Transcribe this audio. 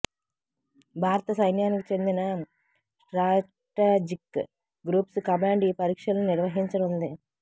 భారత సైన్యానికి చెందిన స్ట్రాటజిక్ గ్రూప్స్ కమాండ్ ఈ పరీక్షలను నిర్వహించనుంది